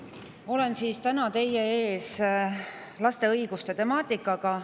Ma olen täna teie ees laste õiguste temaatikaga.